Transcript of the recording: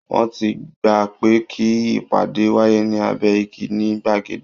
Wọ́n ti gbà pé kí ìpàdé wáyé ní abẹ́ igi ní gbàgede